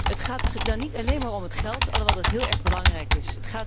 Het gaat dan niet alleen maar om het geld, alhoewel dat heel erg belangrijk is.